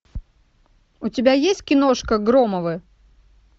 у тебя есть киношка громовы